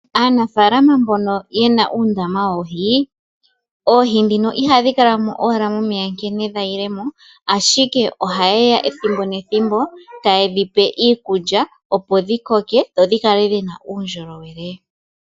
Aanafaalama mbono yena uundama woohi ,oohi ndhino ihadhi kala owala momeya nkene dhayilemo ashike oha yeya ethimbo nethimbo tayedhipe iikulya opo dhi koke sho dhikale dhina uundjolowele.